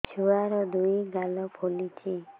ଛୁଆର୍ ଦୁଇ ଗାଲ ଫୁଲିଚି